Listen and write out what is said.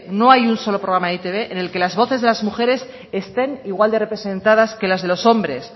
no hay un solo programa en e i te be en el que las voces de las mujeres estén igual de representadas que las de los hombres